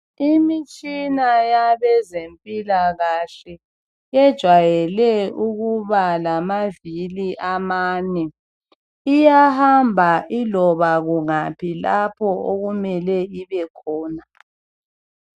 Imitshina abezempilakahle ejayele ukubalamavili amane, iyahamba iloba kungaphi lapho okumele ibekhona.